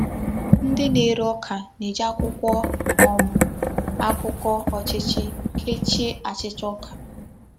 Ndị na-ere ọ́ka na-eji akwụkwọ um akụkọ ọ́chịchị kèchìè achịcha ọ́ka.